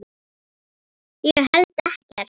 Ég held ekkert.